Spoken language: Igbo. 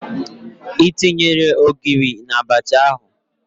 Ị tinyere Ogiri na Abacha ahụ?